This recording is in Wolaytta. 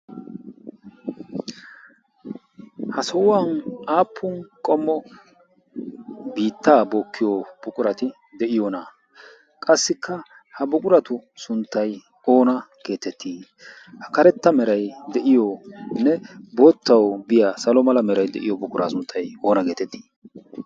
Ha sohuwan aappun qommo biitta bookkiyo buqurati de'iyoona? qassikka ha buquratu sunttay oona getetti? ha karetta meray de'yonne boottaw biya salo mala meray diyo buqura sunttay oona getetti?